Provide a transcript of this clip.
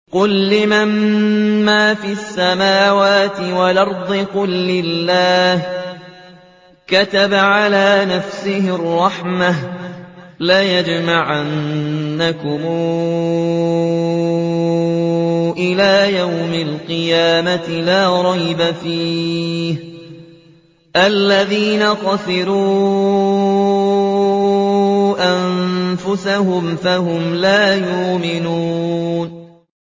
قُل لِّمَن مَّا فِي السَّمَاوَاتِ وَالْأَرْضِ ۖ قُل لِّلَّهِ ۚ كَتَبَ عَلَىٰ نَفْسِهِ الرَّحْمَةَ ۚ لَيَجْمَعَنَّكُمْ إِلَىٰ يَوْمِ الْقِيَامَةِ لَا رَيْبَ فِيهِ ۚ الَّذِينَ خَسِرُوا أَنفُسَهُمْ فَهُمْ لَا يُؤْمِنُونَ